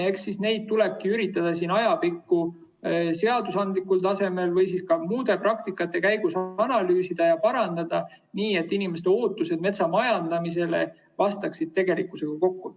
Eks siis neid tuleb üritada ajapikku seadusandlikul tasemel või ka muude praktikate käigus analüüsida ja parandada, nii et inimeste ootused metsamajandamisele ja tegelikkus läheksid kokku.